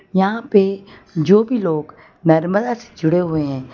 यहां पे जो भी लोग नर्मदा से जुड़े हुए हैं।